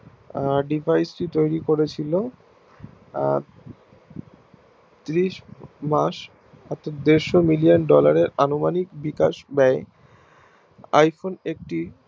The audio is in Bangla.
আহ Device টি তৈরী করেছিলো ত্রিশ মাস অর্থাৎ দেড়শো Million dollar এর আনুমানিক বিকাশ দেয় iPhone একটি